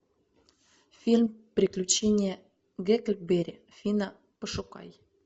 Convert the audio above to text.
фильм приключения гекльберри финна пошукай